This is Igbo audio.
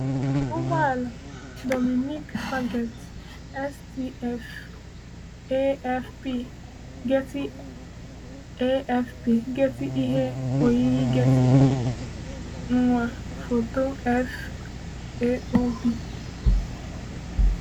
Ụgbọala: Dominique Faget - STF / AFP / Getty AFP / Getty Ihe oyiyi Getty; nwa: Foto FAO / B.